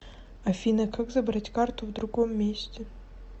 афина как забрать карту в другом месте